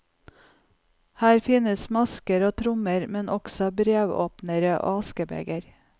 Her finnes masker og trommer, men også brevåpnere og askebeger.